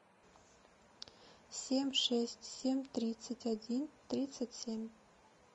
семь шесть семь тридцать один тридцать семь